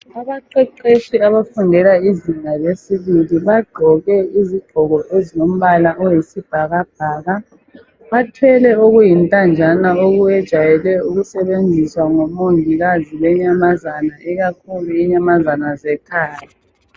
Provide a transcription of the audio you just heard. Abaqeqetshi abafundela izinga lesibili, bagqoke izigqoko ezilombala oyisibhakabhaka. Bathwele okuyintanjana okwejayele ukusebenziswa ngomongikazi benyamazana, ikakhulu inyamazana zekhaya.